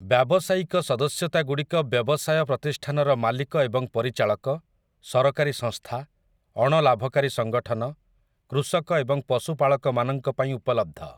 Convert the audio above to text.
ବ୍ୟାବସାୟିକ ସଦସ୍ୟତାଗୁଡ଼ିକ ବ୍ୟବସାୟ ପ୍ରତିଷ୍ଠାନର ମାଲିକ ଏବଂ ପରିଚାଳକ, ସରକାରୀ ସଂସ୍ଥା, ଅଣଲାଭକାରୀ ସଙ୍ଗଠନ, କୃଷକ ଏବଂ ପଶୁପାଳକ ମାନଙ୍କ ପାଇଁ ଉପଲବ୍ଧ ।